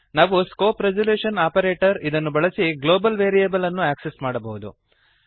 ನಾವು scope resolution operator ಇದನ್ನು ಬಳಸಿ ಗ್ಲೋಬಲ್ ವೇರಿಯಬಲ್ ಅನ್ನು ಆಕ್ಸೆಸ್ ಮಾಡಬಹುದು